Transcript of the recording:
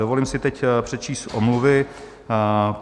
Dovolím si teď přečíst omluvy.